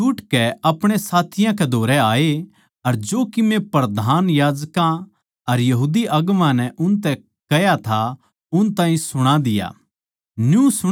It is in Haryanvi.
वे छुट कै अपणे साथियाँ कै धोरै आए अर जो कीमे प्रधान याजकां अर यहूदी अगुवां नै उनतै कह्या था उन ताहीं सुण्या दिया